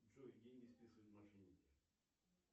джой деньги списывают мошенники